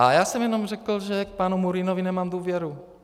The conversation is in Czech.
A já jsem jenom řekl, že k panu Murínovi nemá důvěru.